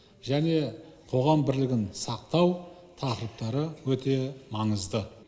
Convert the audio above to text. және қоғам бірлігін сақтау тақырыптары өте маңызды